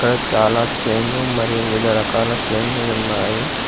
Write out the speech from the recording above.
ఇక్కడ చాలా చైన్ లు మరియు వివిధ రకాల చైన్ లు ఉన్నాయి.